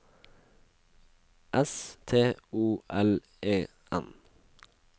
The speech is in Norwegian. S T O L E N